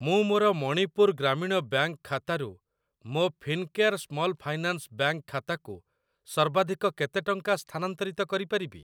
ମୁଁ ମୋର ମଣିପୁର ଗ୍ରାମୀଣ ବ୍ୟାଙ୍କ୍‌ ଖାତାରୁ ମୋ ଫିନକେୟାର୍ ସ୍ମଲ୍ ଫାଇନାନ୍ସ୍ ବ୍ୟାଙ୍କ୍‌ ଖାତାକୁ ସର୍ବାଧିକ କେତେ ଟଙ୍କା ସ୍ଥାନାନ୍ତରିତ କରିପାରିବି?